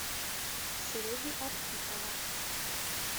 сереги архипова